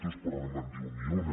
tos però no me’n diu ni una